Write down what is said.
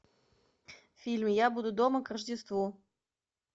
фильм я буду дома к рождеству